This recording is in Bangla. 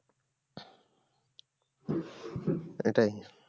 এটাই?